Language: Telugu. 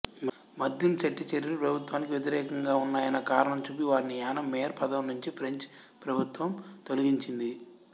మద్దింశెట్టి చర్యలు ప్రభుత్వానికి వ్యతిరేకంగా ఉన్నాయన్న కారణం చూపి వారిని యానాం మేయర్ పదవినుంచి ఫ్రెంచ్ ప్రభుత్వం తొలగించింది